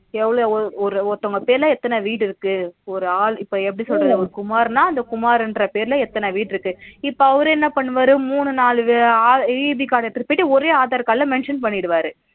எவளவு ஒரு ஒருத்தவங்க பேருல எத்தன வீடு இருக்கு ஒரு ஆளு இப்ப எப்பிடி சொல்றது குமாருனா அந்த குமாரு என்ற பேருல எத்தன வீடு இருக்கு இப்ப அவரு என்ன பண்ணுவாரு மூணு நாலு EB card எடுத்துட்டு போயிட்டு ஒரே aadhar card ல mention பண்ணிடுவாரு